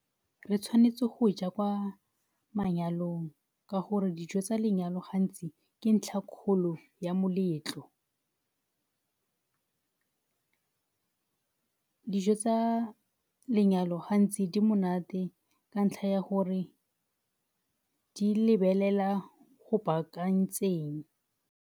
Re tshwanetse go ja kwa manyalong ka gore dijo tsa lenyalo gantsi ke ntlha kgolo ya moletlo. Dijo tsa lenyalo gantsi di monate ka ntlha ya gore di lebelela go baakantseng.